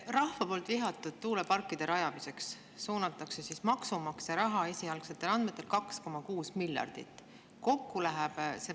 Rahva poolt vihatud tuuleparkide rajamiseks suunatakse esialgsetel andmetel 2,6 miljardit eurot maksumaksja raha.